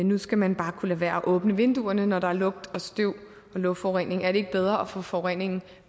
nu skal man bare kunne lade være at åbne vinduerne når der er lugt og støv og luftforurening er det ikke bedre at få forureningen